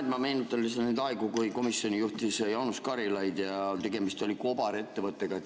Jah, ma meenutan lihtsalt neid aegu, kui komisjoni juhtis Jaanus Karilaid ja tegemist oli kobarettevõttega.